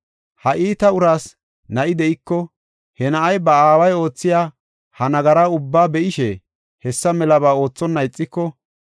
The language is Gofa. “Ha iita uraas na7i de7iko he na7ay ba aaway oothiya ha nagara ubbaa be7ishe, hessa melaba oothonna ixiko,